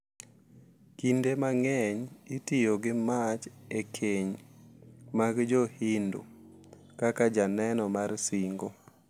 Kinde mang’eny itiyo gi mach e keny mag Jo-Hindu kaka janeno mar singo.